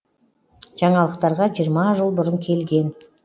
жаңалықтарға жиырма жыл бұрын келген